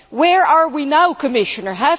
Where are we now, Commissioner?